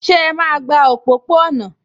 Ṣé ẹ máa gba òpópó-ọ̀nà?